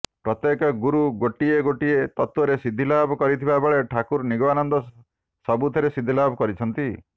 ପ୍ରତ୍ୟେକ ଗୁରୁ ଗୋଟିଏ ଗୋଟିଏ ତତ୍ତ୍ୱରେ ସିଦ୍ଧି ଲାଭ କରିଥିବାବେଳେ ଠାକୁର ନିଗମାନନ୍ଦ ସବୁଥିରେ ସିଦ୍ଧିଲାଭ କରିଛନ୍ତି